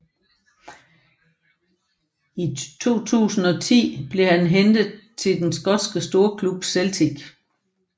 I 2010 blev han hentet til den skotske storklub Celtic